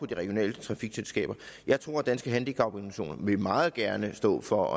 de regionale trafikselskaber jeg tror at danske handicaporganisationer meget gerne vil stå for